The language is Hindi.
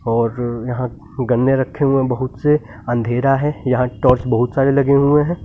और यहाँ गन्ने रखे हुए बहुत से अंधेरा है यहां टॉर्च बहुत सारे लगे हुए हैं।